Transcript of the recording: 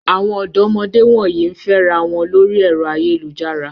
Àwọn ọ̀dọ́mọdé wọ̀nyí ń fẹ́ra wọn lórí ẹ̀rọ ayélujára.